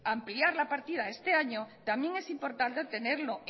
ampliar la partida este año también es importante tenerlo